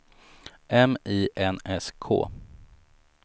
M I N S K